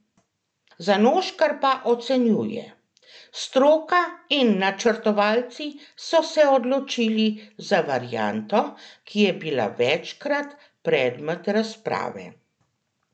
Zanoškar pa ocenjuje: 'Stroka in načrtovalci so se odločili za varianto, ki je bila večkrat predmet razprave.